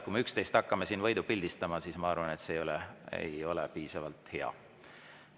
Kui me üksteist hakkame siin võidu pildistama, siis ma arvan, et see ei ole hea.